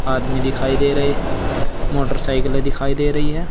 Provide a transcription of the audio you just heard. आदमी दिखाई दे रहे मोटरसाइकिलें दिखाई दे रही है।